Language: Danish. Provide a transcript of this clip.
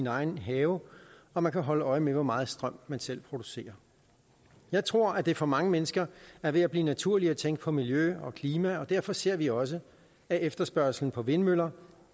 egen have og man kan holde øje med hvor meget strøm man selv producerer jeg tror at det for mange mennesker er ved at blive naturligt at tænke på miljø og klima og derfor ser vi også at efterspørgslen på vindmøller